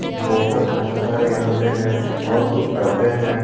बोतल बहुत सारे यहां पे हैं और कुछ डब्बे हैं।